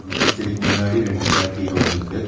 பூச்செடிக்கு முன்னாடி ரெண்டு சேர் கீழே உழுந்திருக்கு.